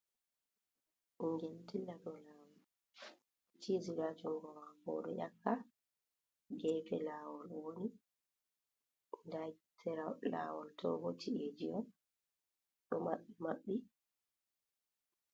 Ɓingel ɗo ɗilla ɗow lawol. Cizi ɗo ha jungo mako, oɗo yakka. gefe lawol owoni. Nɗa sera lawol toɓo ci’eji on ɗo maɓɓe maɓɓi.